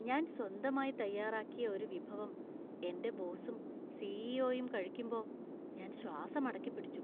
ഞാൻ സ്വന്തമായി തയ്യാറാക്കിയ ഒരു വിഭവം എന്‍റെ ബോസും സി.ഇ.ഒ.യും കഴിക്കുമ്പോ ഞാൻ ശ്വാസം അടക്കിപ്പിടിച്ചു.